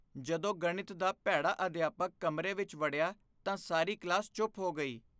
ਜਦੋਂ ਗਣਿਤ ਦਾ ਭੈੜਾ ਅਧਿਆਪਕ ਕਮਰੇ ਵਿੱਚ ਵੜਿਆ ਤਾਂ ਸਾਰੀ ਕਲਾਸ ਚੁੱਪ ਹੋ ਗਈ।